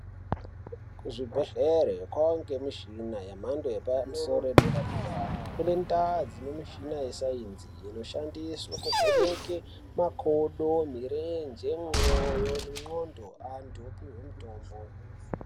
Kuzvibhehlere kwangemishina yemhando yepamusoro yedera-dera, kune ndaa dzine mishina yesainzi inoshandiswe kuvheneke makodo, mirenje mwoyo nendxondo kuti antu opihwe mutombo.